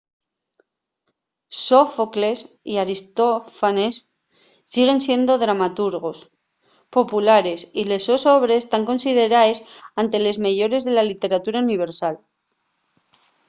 sófocles y aristófanes siguen siendo dramaturgos populares y les sos obres tán consideraes ente les meyores de la lliteratura universal